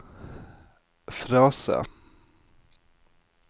frase